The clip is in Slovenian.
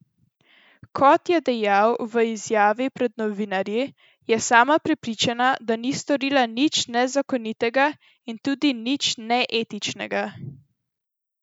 Kot je dejal v izjavi pred novinarji, je sama prepričana, da ni storila nič nezakonitega in tudi nič neetičnega.